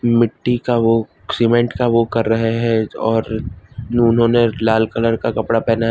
मिट्टी का वो सीमेंट का वो कर रहे हैं और उन्होंने लाल कलर का कपड़ा पेहना है।